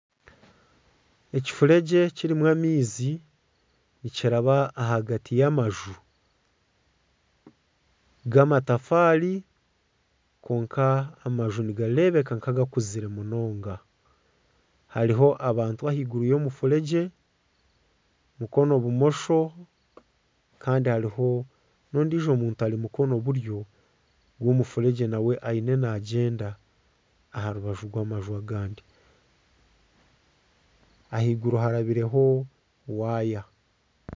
Ekifuregye kirimu amaizi nikiraba ahagati y'amanju g'amatafaari kwonka amanju nigareebeka nka agakuzire munonga hariho abantu ahaiguru y'omufuregye mukono bumosho kandi hariho n'ondijo muntu ari mukono buryo gw'omufuregye ariyo nagyenda aha rubaju rw'amanju agandi, ahaiguru harabireho waaya.